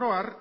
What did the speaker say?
oro har